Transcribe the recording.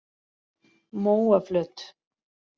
Móaflöt